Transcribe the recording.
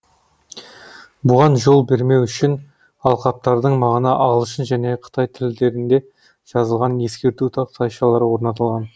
бұған жол бермеу үшін алқаптардың маңына ағылшын және қытай тілдерінде жазылған ескерту тақтайшалары орнатылған